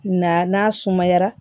Na n'a sumayara